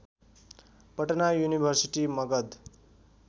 Patna university Magadh